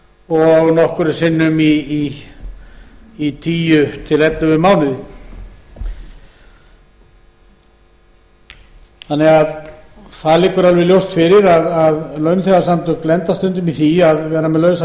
og nokkrum sinnum í tíu til ellefu mánuði það liggur því alveg ljóst fyrir að launþegasamtök lenda stundum í því að vera með lausa